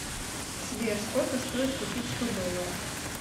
сбер сколько стоит купить сто долларов